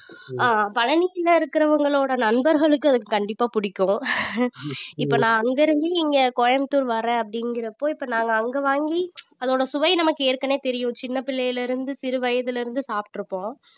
ஆஹ் பழனில இருக்குறவங்களோட நண்பர்களுக்கு அது கண்டிப்பா பிடிக்கும் இப்ப நான் அங்க இருந்து இங்க கோயம்புத்தூர் வரேன் அப்படிங்கிறப்போ இப்ப நாங்க அங்க வாங்கி அதோட சுவை நமக்கு ஏற்கனவே தெரியும் சின்ன பிள்ளையில இருந்து சிறு வயதுல இருந்து சாப்பிட்டிருப்போம்